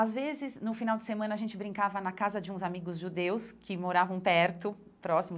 Às vezes, no final de semana, a gente brincava na casa de uns amigos judeus que moravam perto, próximo.